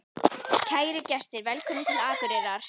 Kæru gestir! Velkomnir til Akureyrar.